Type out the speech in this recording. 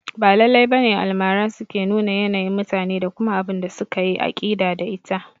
Ba lallai bane Almara suke numa yanayin mutane da kuma abunda suka yi aƙida da ita